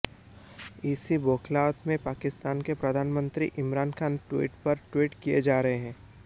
इसी बौखलाहट में पाकिस्तान के प्रधानमंत्री इमरान खान ट्वीट पर ट्वीट किए जा रहे हैं